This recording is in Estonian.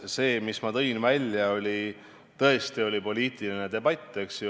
See, mis ma tõin välja, oli ju tõesti poliitiline debatt.